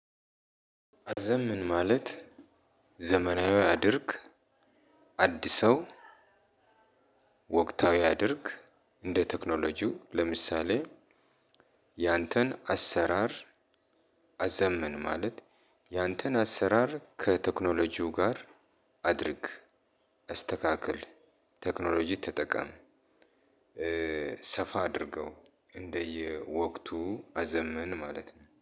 አዘምን ማለት ዘመናዊ አድርግ አድሰው ወቅታዊ አድርግ እንደ ቴክኖሎጂው ለምሳሌ ያንተን አሰራር አዘምን ማለት ያንተን አሰራር ከቴክኖሎጂው ጋር አድርግ አስተካክል ቴክኖሎጂ ተጠቀም ሰፋ አድርገው እንደየወቅቱ አዘምን ማለት ነው።